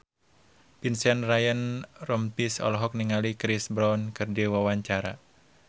Vincent Ryan Rompies olohok ningali Chris Brown keur diwawancara